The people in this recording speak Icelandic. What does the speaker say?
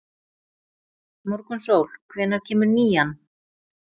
Morgunsól, hvenær kemur nían?